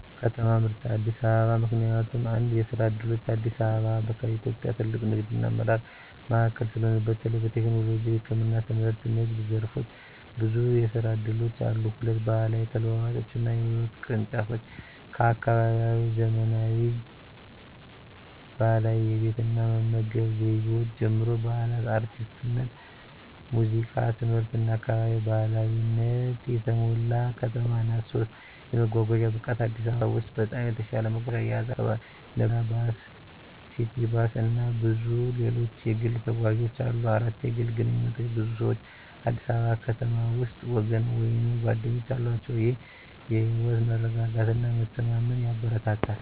ከተማ ምርጫ አዲስ አበባ ምክንያቱም፦ 1. የስራ ዕድሎች: አዲስ አበባ ከኢትዮጵያ ትልቁ ንግድና አመራር ማዕከል ስለሆነ፣ በተለይ በቴክኖሎጂ፣ ህክምና፣ ትምህርትና ንግድ ዘርፎች ብዙ የስራ እድሎች አሉ። 2. ባህላዊ ተለዋዋጮችና ህይወት ቅርንጫፎች: ከአካባቢያዊ ዘመናዊ ባህላዊ የቤት እና መመገብ ዘይቤዎች ጀምሮ፣ በዓላት፣ አርቲስትነት፣ ሙዚቃ፣ ትምህርትና አካባቢ ባህላዊነት የተሞላ ከተማ ናት። 3. የመጓጓዣ ብቃት: አዲስ አበባ በኢትዮጵያ ውስጥ በጣም የተሻለ መጓጓዣ አያያዝ አላት። ነባር መኪና፣ ባስ፣ ሲቲ ባስ፣ እና ብዙ ሌሎች የግል ተጓዦች አሉ። 4. የግል ግንኙነቶች: ብዙ ሰዎች አዲስ አበባ ከተማ ውስጥ ወገን ወይም ጓደኞች አላቸው፣ ይህም የህይወት መረጋጋትና መተማመን ያበረታታል።